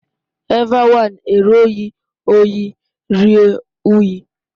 Evbe wine ẹre ọ ghi rhie uyi